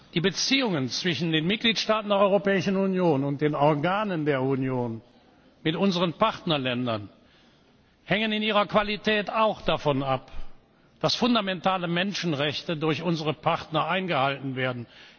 Die Beziehungen zwischen den Mitgliedstaaten der Europäischen Union und den Organen der Union, mit unseren Partnerländern, hängen in ihrer Qualität auch davon ab, dass fundamentale Menschenrechte durch unsere Partner eingehalten werden.